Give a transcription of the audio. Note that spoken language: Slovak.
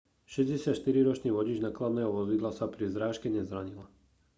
64-ročný vodič nákladného vozidla sa pri zrážke nezranil